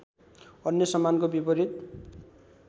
अन्य सम्मानको विपरीत